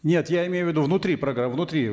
нет я имею в виду внутри внутри